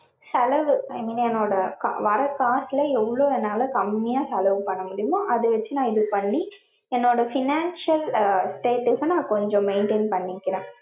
செலவு, என்னோட வர காசுல எவ்ளோ என்னால கம்மியா செலவு பண்ண முடியுமோ அத வச்சுநா இது பண்ணி, என்னோட financial அஹ் status ச நா கொஞ்சம் maintain பண்ணிக்றேன்.